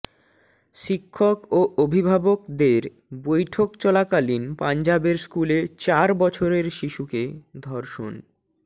শিক্ষক ও অভিভাবকদের বৈঠক চলাকালীন পঞ্জাবের স্কুলে চার বছরের শিশুকে ধর্ষণ